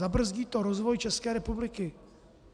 Zabrzdí to rozvoj České republiky!